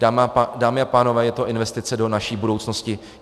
Dámy a pánové, je to investice do naší budoucnosti.